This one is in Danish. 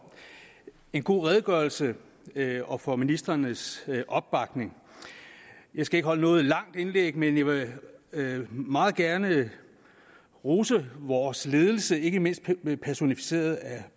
en god redegørelse og for ministrenes opbakning jeg skal ikke holde noget langt indlæg men jeg vil meget gerne rose vores ledelse ikke mindst personificeret af herre